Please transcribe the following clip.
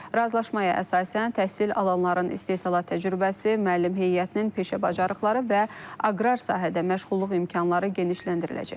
Razılaşmaya əsasən təhsil alanların istehsalat təcrübəsi, müəllim heyətinin peşə bacarıqları və aqrar sahədə məşğulluq imkanları genişləndiriləcək.